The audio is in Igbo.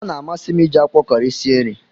Ọ na amasi m iji akwụkwọ Kọri sie nri